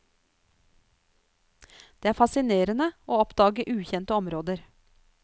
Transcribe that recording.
Det er fascinerende å oppdage ukjente områder.